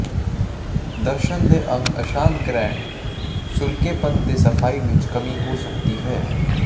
ਦਰਸ਼ਣ ਦੇ ਅੰਗ ਅਸ਼ਾਂਤ ਗਲੈਂਡ ਸੁਕਰੇਪਣ ਦੇ ਸਫਾਈ ਵਿਚ ਕਮੀ ਹੋ ਸਕਦੀ ਹੈ